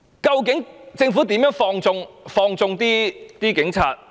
究竟政府怎樣放縱警察？